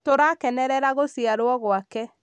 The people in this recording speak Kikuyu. tũrakenerera gũciarwo gwake